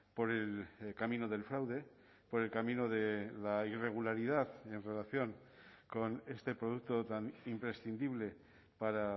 por el camino del fraude por el camino de la irregularidad en relación con este producto tan imprescindible para